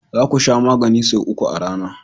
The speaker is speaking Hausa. Za ku Sha maganin sau uku a rana.